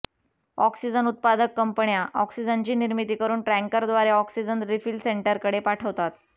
oxygen उत्पादक कंपन्या ऑक्सिजनची निर्मिती करून टँकरद्वारे ऑक्सिजन रिफिल सेंटरकडे पाठवतात